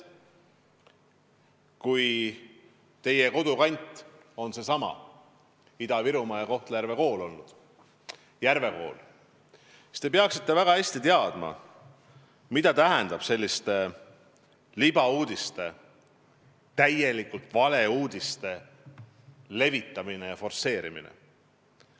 Kui teie kodukant on Ida-Virumaa ja te olete õppinud Kohtla-Järve Järve koolis, siis te peaksite väga hästi teadma, mida tähendab libauudiste, täielikult valeuudiste levitamine ja forsseerimine.